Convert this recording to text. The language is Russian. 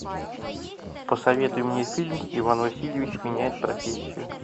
посоветуй мне фильм иван васильевич меняет профессию